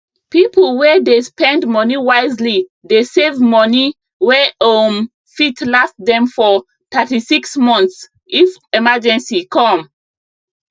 people wey dey spend money wisely dey save money wey um fit last them for 36 months if emergency come